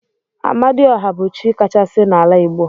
Amadi ọha bu chi kachasi na ala igbo.